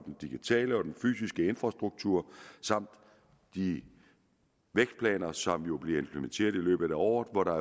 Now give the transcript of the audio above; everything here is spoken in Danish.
digitale og den fysiske infrastruktur samt de vækstplaner som jo bliver implementeret i løbet af året og hvor der